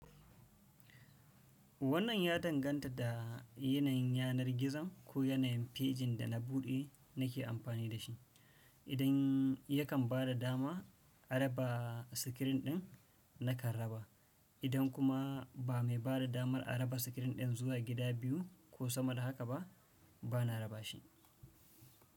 Wannan ya danganta da yanayin yanar gizon ko yanayin fejin da na buɗe nake amfani da shi. Idan yakan ba da dama a raba sikirin ɗin, nakan raba. Idan kuma ba mai bada damar a raba sikirin ɗin zuwa gida biyu ko sama da haka ba, bana raba shi.